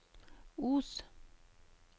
Os